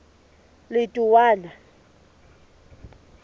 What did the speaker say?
letowana